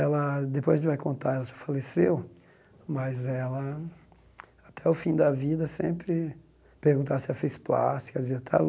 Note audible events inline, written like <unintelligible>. Ela, depois a gente vai contar, ela já faleceu, mas ela, até o fim da vida, sempre perguntavam se ela fez plásticas diziam <unintelligible>